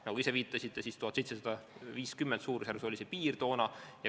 Nagu te ise viitasite, suurusjärgus 1750 eurot oli see piir toona.